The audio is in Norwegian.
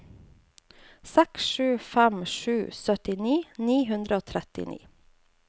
seks sju fem sju syttini ni hundre og trettini